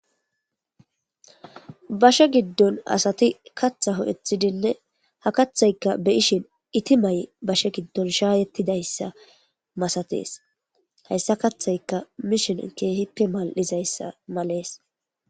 bashe giddon asati katha ho7ethidinne ha kathayka beyishin iti may7 bashe giddon shaayettidayssa masatees hayssa kathayka mishen keehippe mal7izayssa malees